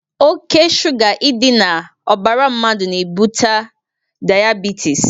Ọke sụga idi na ọbara mmadu n' ebute diabetịs.